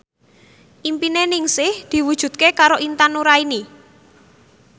impine Ningsih diwujudke karo Intan Nuraini